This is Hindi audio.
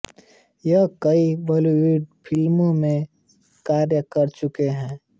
यह कई बॉलीवुड फ़िल्मों में कार्य कर चुके है